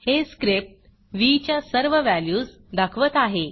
हे स्क्रिप्ट व्ह च्या सर्व व्हॅल्यूज दाखवत आहे